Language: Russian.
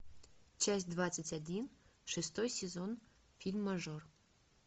часть двадцать один шестой сезон фильм мажор